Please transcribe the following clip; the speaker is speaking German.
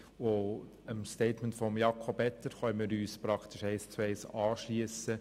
Dem Statement von Jakob Etter können wir uns praktisch eins zu eins anschliessen.